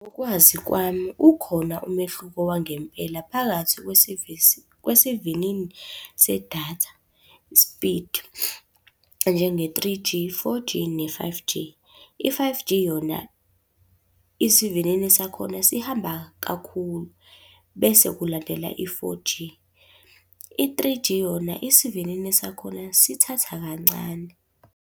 Ngokwazi kwami, ukhona umehluko wangempela phakathi kwesevisi kwesivinini sedatha, isipidi njenge-three G, four G ne-five G. I-five G yona, isivinini sakhona sihamba kakhulu bese kulandela i-four G. I-three G yona, isivinini sakhona sithatha kancane.